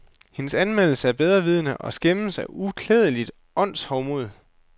Hendes anmeldelse er bedrevidende og skæmmes af uklædeligt åndshovmod.